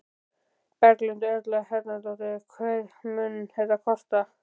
Berghildur Erla Bernharðsdóttir: Hvað mun þetta kosta?